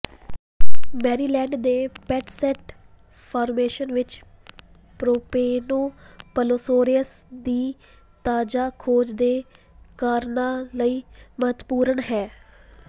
Maryland ਦੇ Patuxent formation ਵਿਚ Propanoplosaurus ਦੀ ਤਾਜ਼ਾ ਖੋਜ ਦੋ ਕਾਰਨਾਂ ਲਈ ਮਹੱਤਵਪੂਰਣ ਹੈ